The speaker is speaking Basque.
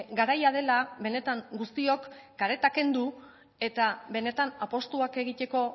garaia dela benetan guztiok kareta kendu eta benetan apustuak egiteko